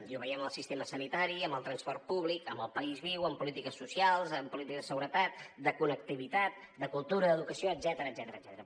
i ho veiem amb el sistema sanitari amb el transport públic amb el país viu amb polítiques socials amb polítiques de seguretat de connectivitat de cultura d’educació etcètera